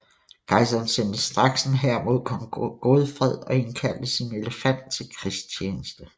Kejseren sendte straks en hær mod kong Godfred og indkaldte sin elefant til krigstjeneste